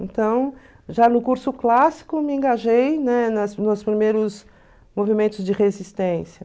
Então, já no curso clássico, me engajei, né, nas nos primeiros movimentos de resistência.